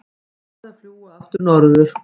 Farið að fljúga aftur norður